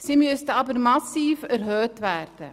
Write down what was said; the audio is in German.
Es müsste jedoch massiv erhöht werden.